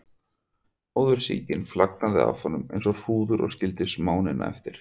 Móðursýkin flagnaði af honum eins og hrúður og skildi smánina eftir.